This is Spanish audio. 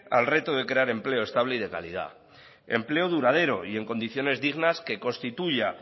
al reto de crear empleo estable y de calidad empleo duradero y en condiciones dignas que constituya